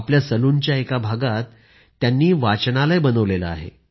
आपल्या सलूनच्या एका भागातच त्यांनी वाचनालय बनवलं आहे